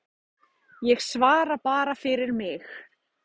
Tónlist sígauna er iðulega sungin, og þá af karlmanni.